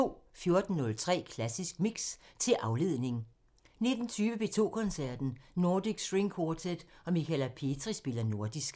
14:03: Klassisk Mix – til afledning 19:20: P2 Koncerten – Nordic String Quartet og Michala Petri spiller nordisk